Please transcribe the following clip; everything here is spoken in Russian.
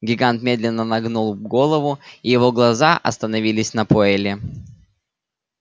гигант медленно нагнул голову и его глаза остановилась на пуэлле